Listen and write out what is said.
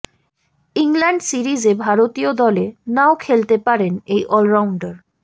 England সিরিজে ভারতীয় দলে নাও খেলতে পারেন এই অলরাউন্ডার